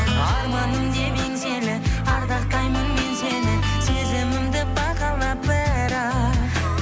арманым деп еңселі ардақтаймын мен сені сезімімді бағала бірақ